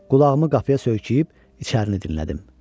Qulağımı qapıya söykəyib içərini dinlədim.